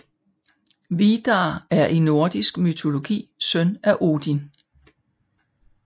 Vidar er i nordisk mytologi søn af Odin